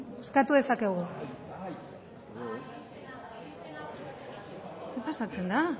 bozkatu dezakegu ze pasatzen da